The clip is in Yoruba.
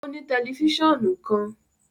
O ni tẹlifisiọnu kan